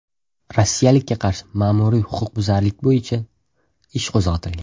Rossiyalikka qarshi ma’muriy huquqbuzarlik bo‘yicha ish qo‘zg‘atilgan.